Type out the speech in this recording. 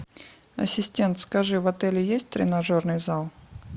ассистент скажи в отеле есть тренажерный зал